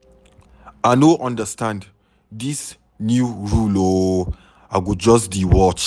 I no understand dis new rule ooo. I go just dey watch.